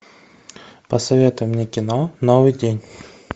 посоветуй мне кино новый день